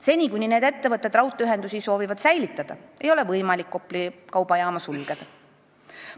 Seni kuni need ettevõtted raudteeühendusi soovivad säilitada, ei ole võimalik Kopli kaubajaama sulgeda.